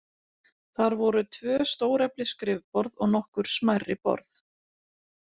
Þar voru tvö stóreflis skrifborð og nokkur smærri borð.